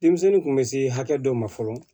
Denmisɛnnin kun bɛ se hakɛ dɔ ma fɔlɔ